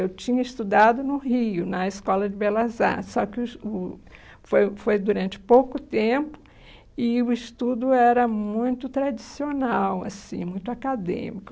Eu tinha estudado no Rio, na Escola de Belas Artes, só que o es o foi foi durante pouco tempo e o estudo era muito tradicional, assim, muito acadêmico.